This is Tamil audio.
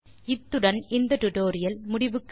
இத்துடன் இந்த டியூட்டோரியல் முடிவுக்கு வருகிறது